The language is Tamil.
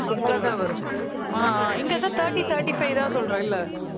அவ்ளோதான் வரும் ஆஹ் அஹ் இங்க thirty, thirty five தான் சொல்ற இல்ல